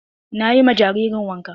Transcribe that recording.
Na yi ma jaririn wanka.